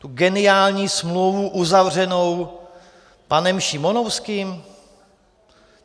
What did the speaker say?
Tu geniální smlouvu uzavřenou panem Šimonovským?